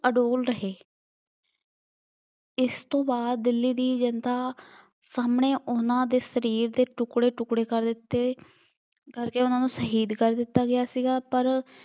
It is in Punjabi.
ਅਡੌਲ ਰਹੇ। ਇਸ ਤੋਂ ਬਾਅਦ ਦਿੱਲੀ ਦੀ ਜਨਤਾ ਸਾਹਮਣੇ ਉਹਨਾ ਦੇ ਸਰੀਰ ਦੇ ਟੁੱਕੜੇ ਟੁੱਕੜੇ ਕਰ ਦਿੱਤੇ, ਕਰਕੇ ਉਹਨਾ ਨੂੰ ਸ਼ਹੀਦ ਕਰ ਦਿੱਤਾ ਗਿਆ ਸੀਗਾ ਪਰ